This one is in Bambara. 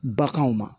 Baganw ma